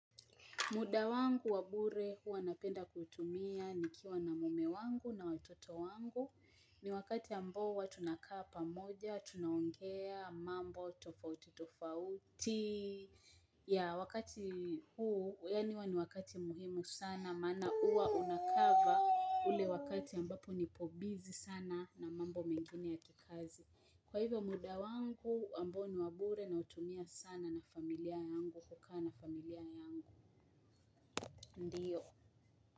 Muda wangu wa bure huwa napenda kuutumia ni kiwa na mume wangu na watoto wangu ni wakati ambo huwa tunakaa pamoja, tunaongea, mambo, tofauti, tofauti. Ya wakati huu, yani huwa ni wakati muhimu sana, maana huwa unakava ule wakati ambapo nipo busy sana na mambo mengine ya kikazi. Kwa hivyo muda wangu, ambao ni wabure na utumia sana na familia yangu, hukaa na familia yangu. Ndio.